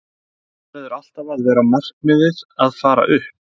Það verður alltaf að vera markmiðið að fara upp.